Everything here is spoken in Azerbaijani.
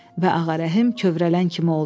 Və Ağarəhim kövrələn kimi oldu.